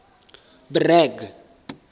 bragg